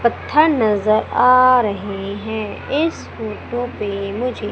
पत्थर नजर आ रहे हैं इस फोटो पे मुझे--